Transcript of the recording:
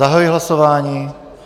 Zahajuji hlasování.